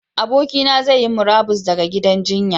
Abokina zai yi murabus ɗaga gidan jinya.